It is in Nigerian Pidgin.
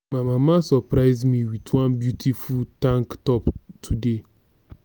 my mama surprise me with one beautiful tank top today